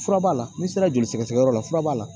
Fura b'a la n'i sera joli sɛgɛsɛgɛyɔrɔ la fura b'a la